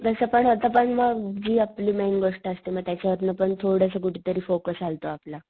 तस पण आता पण मग जी आपली मेन गोष्ट असते मग त्याच्यावरण पण थोडास कुठं तरी फोकस हलतो आपला.